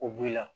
O b'i la